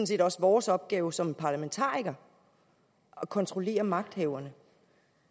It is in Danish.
set også vores opgave som parlamentarikere at kontrollere magthaverne